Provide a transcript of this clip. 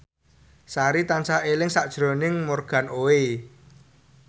Sari tansah eling sakjroning Morgan Oey